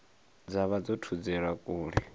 dza vha dzo thudzelwa kule